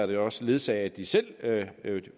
det også ledsage af at de selv